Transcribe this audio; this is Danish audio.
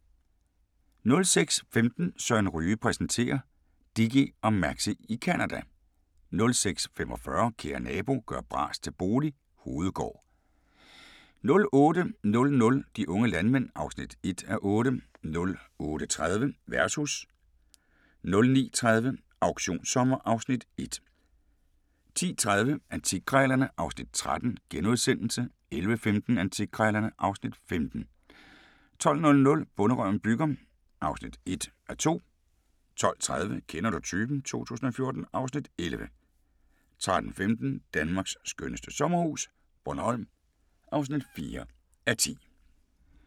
06:15: Søren Ryge præsenterer: Dickie og Maxie i Canada 06:45: Kære nabo – gør bras til bolig – Hovedgård 08:00: De unge landmænd (1:8) 08:30: Versus 09:30: Auktionssommer (Afs. 1) 10:30: Antikkrejlerne (Afs. 13)* 11:15: Antikkrejlerne (Afs. 15) 12:00: Bonderøven bygger (1:2) 12:30: Kender du typen? 2014 (Afs. 11) 13:15: Danmarks skønneste sommerhus - Bornholm (4:10)